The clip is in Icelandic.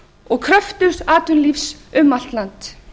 og kröftugs atvinnulífs um allt land